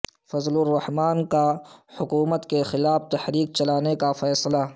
فضل الرحمان کا حکومت کیخلاف تحریک چلانے کا فیصلہ